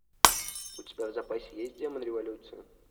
у тебя в запасе есть демон революции